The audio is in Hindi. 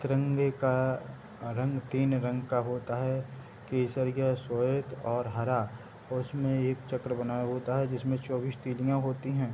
तिरंगे का रंग तीन रंग का होता है केसरिया स्वेत और हरा और उसमे एक चक्र बना होता है जिसमे चौबीस तिल्लियां होती हैं |